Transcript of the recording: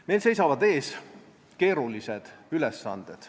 Meil seisavad ees keerulised ülesanded.